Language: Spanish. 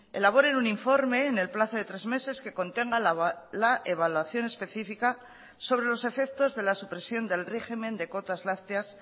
elaboren un informe en el plazo de tres meses que contenga la evaluación especifica sobre los efectos de la supresión del régimen de cotas lácteas